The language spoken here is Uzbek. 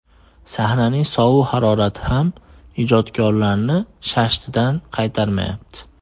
Sahnaning sovuq harorati ham ijodkorlarni shashtidan qaytarmayapti.